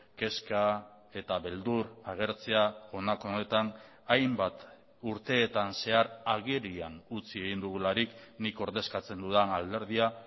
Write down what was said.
kezka eta beldur agertzea honako honetan hainbat urteetan zehar agerian utzi egin dugularik nik ordezkatzen dudan alderdia